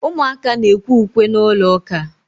Ụmụaka na-ekwe ukwe n’ụlọụka